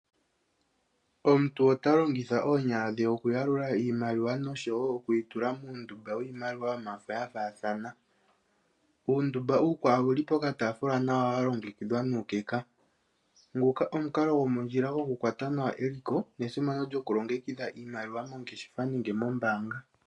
Omuntu ota longitha oonyala dhe okuyalula iimaliwa noshowo oku yi tula muundumba wiimaliwa ya faathana. Uundumbauukwawo owuli pokatafula nawa wa longekidhwa nawa nuukeka. Nguka omukalo gomondjila gokukwata nawa eliko, nesimano lyokulongekidha iimaliwa moongeshefa nenge moombaanga.